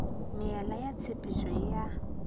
meela ya tshepetšo e a